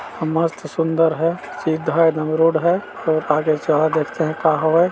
मस्त सुन्दर है सीधा एदम रोड है और आगे से आओ देखते है का होवे--